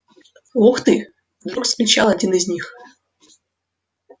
ух ты вдруг вскричал один из них